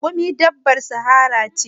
Raƙumi dabbar sahara ce.